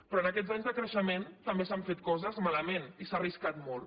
però en aquests anys de creixement també s’han fet coses malament i s’ha arriscat molt